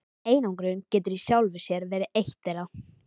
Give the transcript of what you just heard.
Einangrun getur í sjálfu sér verið eitt þeirra.